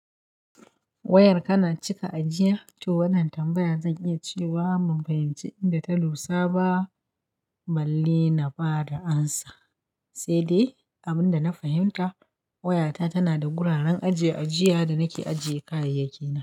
Wayar kana cika ajiya? To wannan tambayar zan iya cewa ban fahimci inda ta lusa ba, balle na ba da amsa. Sai dai abin da na fahimta wayata tana da guraren ajiye-ajiya da nake ajiye kayayyaki.